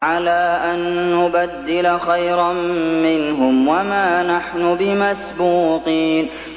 عَلَىٰ أَن نُّبَدِّلَ خَيْرًا مِّنْهُمْ وَمَا نَحْنُ بِمَسْبُوقِينَ